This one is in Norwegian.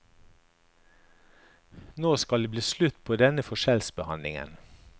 Nå skal det bli slutt på denne forskjellsbehandlingen.